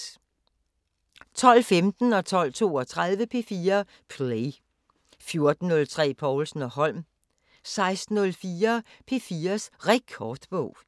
12:15: P4 Play 12:32: P4 Play 14:03: Povlsen & Holm 16:04: P4's Rekordbog